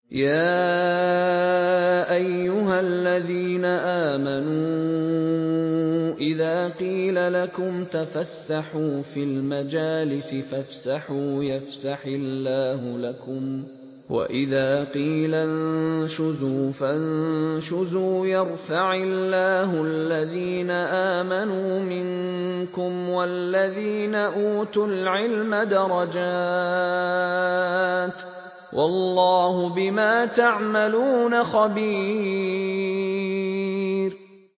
يَا أَيُّهَا الَّذِينَ آمَنُوا إِذَا قِيلَ لَكُمْ تَفَسَّحُوا فِي الْمَجَالِسِ فَافْسَحُوا يَفْسَحِ اللَّهُ لَكُمْ ۖ وَإِذَا قِيلَ انشُزُوا فَانشُزُوا يَرْفَعِ اللَّهُ الَّذِينَ آمَنُوا مِنكُمْ وَالَّذِينَ أُوتُوا الْعِلْمَ دَرَجَاتٍ ۚ وَاللَّهُ بِمَا تَعْمَلُونَ خَبِيرٌ